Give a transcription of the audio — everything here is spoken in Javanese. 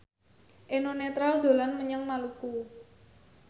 Eno Netral dolan menyang Maluku